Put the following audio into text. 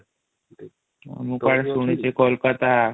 ମୁ କୁଆଡେ ଶୁଣିଛି କୋଲକାତା